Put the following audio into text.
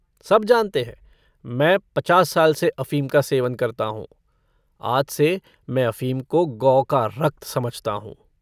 सब जानते हैं मैं पचास साल से अफ़ीम का सेवन करता हूँ। आज से मैं अफ़ीम को गौ का रक्त समझता हूँ।